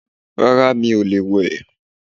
Rárá mi ò lè wẹ̀